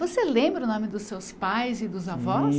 Você lembra o nome dos seus pais e dos avós?